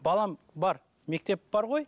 балам бар мектеп бар ғой